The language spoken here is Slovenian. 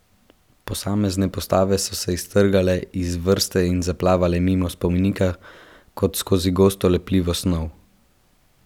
Posamezne postave so se iztrgale iz vrste in zaplavale mimo spomenika kot skozi gosto, lepljivo snov.